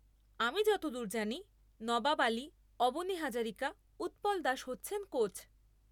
আমি যতদূর জানি, নবাব আলি, অবনি হাজারিকা, উৎপল দাস হচ্ছেন কোচ।